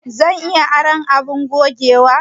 Zan iya aron abin gogewa?